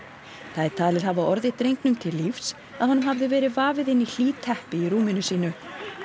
það er talið hafa orðið drengnum til lífs að honum hafði verið vafið inn í hlý teppi í rúminu sínu